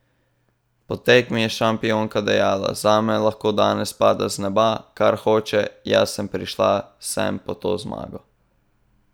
Po tekmi je šampionka dejala: "Zame lahko danes pada z neba, kar hoče, jaz sem prišla sem po to zmago.